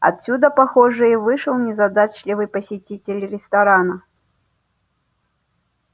отсюда похоже и вышел незадачливый посетитель ресторана